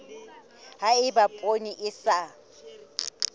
ha eba poone e sa